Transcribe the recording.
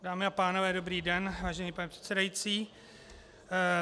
Dámy a pánové, dobrý den, vážený pane předsedající.